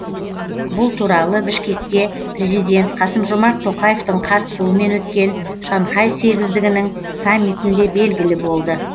бұл туралы бішкекте президент қасым жомарт тоқаевтың қатысуымен өткен шанхай сегіздігінің саммитінде белгілі болды